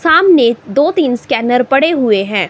सामने दो तीन स्कैनर पड़े हुए हैं।